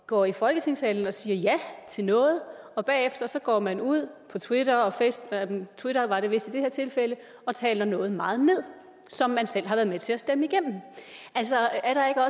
går i folketingssalen og siger ja til noget og bagefter går man ud på twitter og twitter og taler noget meget ned som man selv har været med til at stemme igennem altså